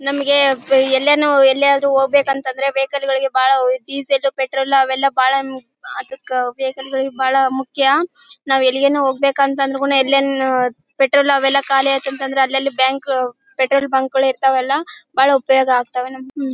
ನಮಿಗೆ ಎಲ್ಲಾನು ಎಲ್ಲಿಆದ್ರೂ ಹೋಗ್ಬೇಕು ಅಂದ್ರೆ ವೆಹಿಕಲ್ ಗಳಿಗೆ ಬಹಳ ಡೀಸೆಲ್ ಪೆಟ್ರೋಲ್ ಅವೆಲ್ಲಾ ಬಹಳ ಅದಕ್ಕ ವೆಹಿಕಲ್ ಗಳಿಗೆ ಬಹಳ ಮುಖ್ಯ ನಾವ್ ಎಲ್ಲಿಗಾದ್ರೂ ಹೋಗ್ಬೇಕು ಅಂತ ಕೂಡ ಎಲ್ಲಿನ ಪೆಟ್ರೋಲ್ ಅವೆಲ್ಲಾ ಖಾಲಿ ಆಯತು ಅಂದ್ರೆ ಅಲ್ಲ ಅಲ್ಲಿ ಬ್ಯಾಂಕ್ ಪೆಟ್ರೋಲ್ ಬ್ಯಾಂಕ್ ಇರ್ತಾವಲ್ಲಾ ಬಹಳ ಉಪಯೋಗ ಆಗ್ತಾವೆ ಹ್ಮ್